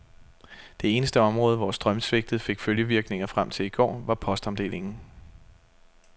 Det eneste område, hvor strømsvigtet fik følgevirkninger frem til i går, var postomdelingen.